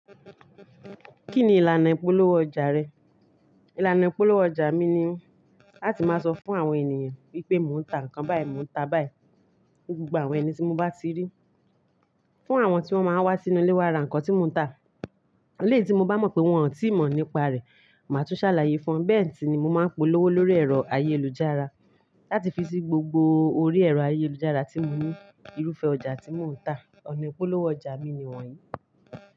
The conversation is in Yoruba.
Kí ni ìlànà ìpolówó ọjà rẹ? Ìlànà ìpolówó ọjà mi ni láti máa sọ fún àwọn ènìyàn wípé mò ń ta nǹkan báyìí, mò ń ta báyìí. Gbogbo àwọn ẹni tí mo bá ti rí. Fún àwọn tí wọ́n máa ń wá sínú ilé wa ra nǹkan tí mò ń tà, eleyi tí mo bá mọ̀ pé wọ́n ò tíì mọ̀ nípa rẹ̀, màá tún ṣàlàyé fún wọn. Bẹ́ẹ̀ sì ni mo máa ń polówó lórí ẹ̀rọ ayélujára láti fi sí gbogbo orí ẹ̀rọ ayélujára tí mo ní irúfẹ́ ọjà tí mò ń tà. Ọ̀nà ìpolówó ọjà mi ni wọ̀nyí.